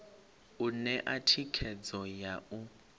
u ṋea thikhedzo ya u